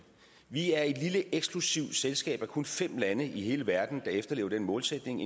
vi er et lille eksklusivt selskab af kun fem lande i hele verden der efterlever den målsætning